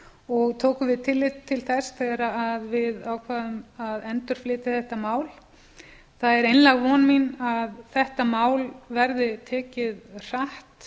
og tókum við tillit til þess þegar við ákváðum að endurflytja þetta mál það er einlæg von mín að þetta mál verði tekið hratt